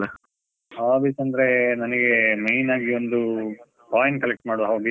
hobbies ಅಂದ್ರೆ ನನಿಗೆ, main ಆಗಿ ನನಿಗೆ ಒಂದು coin collect ಮಾಡುವ hobby ಇದೆ.